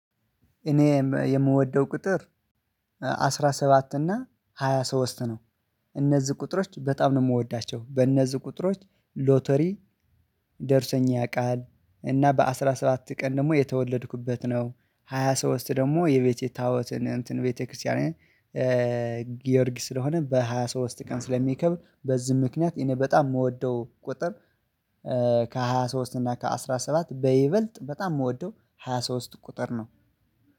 እኔ የምወደው ቁጥር አስራ ሰባት እና ሃያ ሶስት ነው። እነዚህ ቁጥሮች በጣም ነው የምወዳቸው በእነዚህ ቁጥሮች ሎተሪ ደርሶኛ ያውቃል። እና በአሥራ ሰባት ቀን ደግሞ የተወለድኩበት ነው። ሃያ ሶስት ደግሞ የቤቴ ታቦትን እንትን ቤተክርስቲያን። ጊዮርጊስ ስለሆነ በሃያ ሶስት ቀን ስለሚከብር በዚህ ምክንያት እኔ በጣም የምወደው ቁጥር ከሃያ ሶስት እና ከአሥራ ሰባት በይበልጥ በጣም የምወደው ሃያ ሶስት ቁጥር ነው።